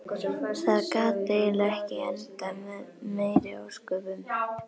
Það gat eiginlega ekki endað með meiri ósköpum.